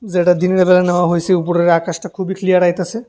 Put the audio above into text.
যেটা দিনের বেলা নেওয়া হইসে উপরের আকাশটা খুবই ক্লিয়ার আইতাসে।